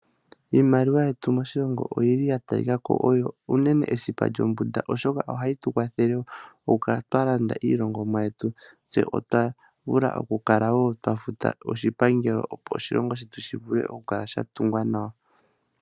Iimaliwa yetu moshilongo oyili ya talikako oyo uunene esipa lyo mbunda oshoka ohayi tu kwathele okukala twa landa iilongomwa yetu tse otu vule okukala wo twa futa shipangelo opo oshilongo shetu shivule okukala sha tungwa nawa.